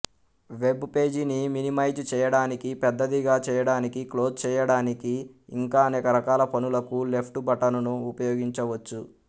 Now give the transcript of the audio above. web పేజీని minimise చేయడానికి పెద్దదిగా చేయడానికి క్లోజ్ చేయడానికి ఇంకా అనేక రకాల పనులకు లెఫ్ట్ బటనును ఉపయోగించవచ్చు